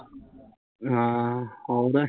ਹਾਂ, ਹੋਰ